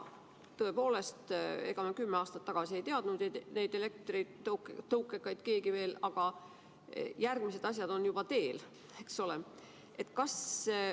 Tõepoolest, kümme aastat tagasi ei teadnud neid elektritõukekaid veel keegi, aga nüüd on juba järgmised asjad teel, eks ole.